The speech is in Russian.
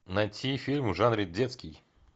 найти фильм в жанре детский